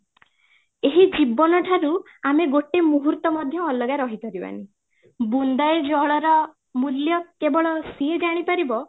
ଏହି ଜୀବନ ଠାରୁ ଆମେ ଗୋଟେ ମୁହୂର୍ତ ମଧ୍ୟ ଅଲଗା ରହି ପାରିବାନି ବୁନ୍ଦାଏ ଜଳର ମୂଲ୍ୟ କେବଳ ସିଏ ଜାଣି ପାରିବ